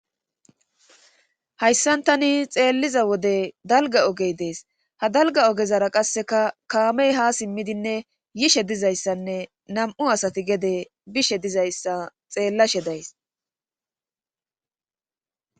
Hayssan tani xeelliza wode dalga ogey dees ha dalga ogezara qasseka kaamey ha simmidinne yishe dizayssanne nam'u asati gede bishe dizayssa xeellashe days.